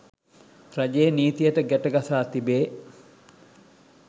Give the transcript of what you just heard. රජයේ නීතියට ගැටගසා තිබේ